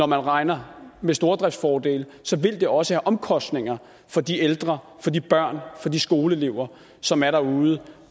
man regner med stordriftsfordele så vil det også have omkostninger for de ældre for de børn for de skoleelever som er derude